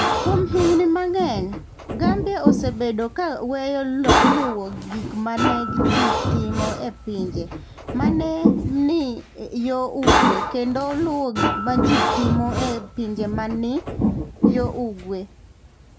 Kuom higini mang'eny, Gambia osebedo ka weyo luwo gik ma ne ji timo e pinje ma ne ni yo ugwe, kendo luwo gik ma ji timo e pinje ma ne ni yo ugwe.